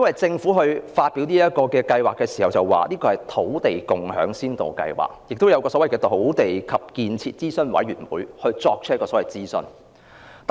政府在發表這項計劃時已說明，這是土地共享先導計劃，並已由土地及建設諮詢委員會進行諮詢。